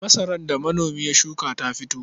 Masarar da manomi ya shuka ta fito.